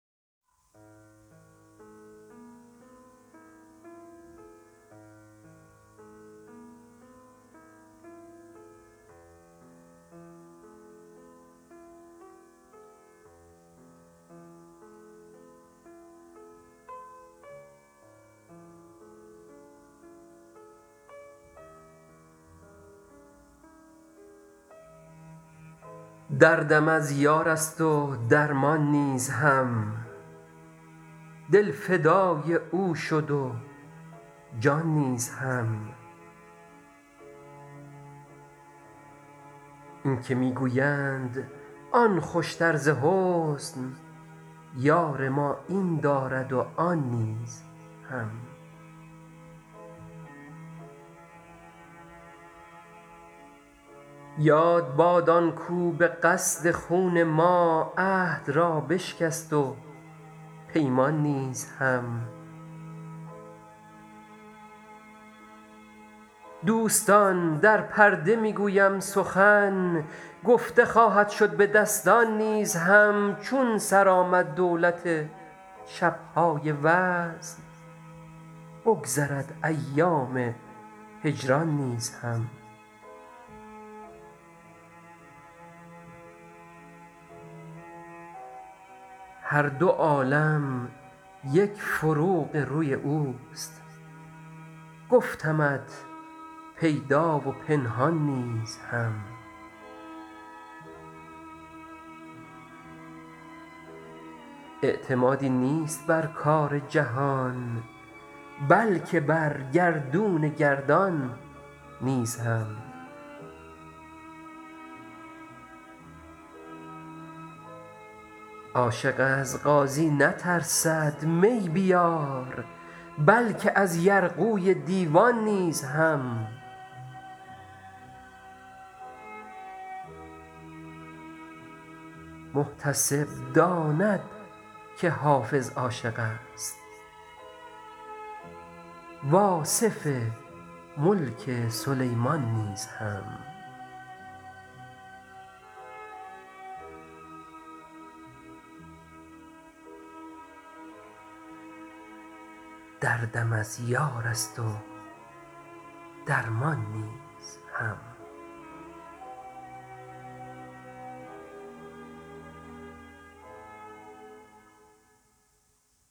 دردم از یار است و درمان نیز هم دل فدای او شد و جان نیز هم این که می گویند آن خوشتر ز حسن یار ما این دارد و آن نیز هم یاد باد آن کاو به قصد خون ما عهد را بشکست و پیمان نیز هم دوستان در پرده می گویم سخن گفته خواهد شد به دستان نیز هم چون سر آمد دولت شب های وصل بگذرد ایام هجران نیز هم هر دو عالم یک فروغ روی اوست گفتمت پیدا و پنهان نیز هم اعتمادی نیست بر کار جهان بلکه بر گردون گردان نیز هم عاشق از قاضی نترسد می بیار بلکه از یرغوی دیوان نیز هم محتسب داند که حافظ عاشق است و آصف ملک سلیمان نیز هم